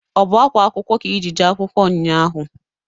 Ọ bụ akwa akwụkwọ ka i ji jee akwụkwọ nnya ahụ?